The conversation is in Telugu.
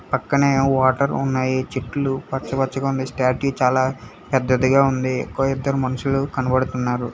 పక్కనే వాటర్ ఉన్నాయి చెట్లు పచ్చ పచ్చగుంది స్టాట్యూ చాలా పెద్దదిగా ఉంది కో ఇద్దరు మనుషులు కనబడుతున్నారు.